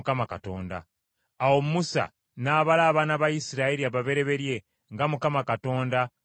Awo Musa n’abala abaana ba Isirayiri ababereberye nga Mukama Katonda bwe yamulagira.